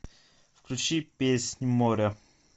включи песнь моря